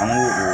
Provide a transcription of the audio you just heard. An b'o o